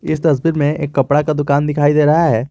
इस तस्वीर में एक कपड़ा का दुकान दिखाई दे रहा है।